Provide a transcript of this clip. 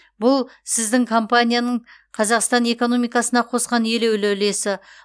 бұл сіздің компанияның қазақстан экономикасына қосқан елеулі үлесі